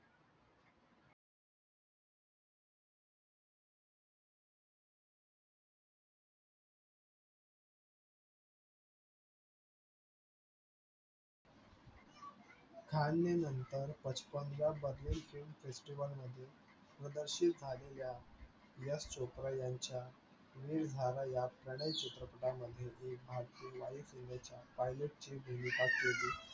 खान ने नतर film festival मध्ये प्रदर्शित झालेल्या यश चोप्रा यांच्या वीर झरा या लठाई चित्रपटा मध्ये एक भारतीय वायू सेनेच्या pilot ची भूमिका केली.